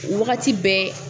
wagati bɛɛ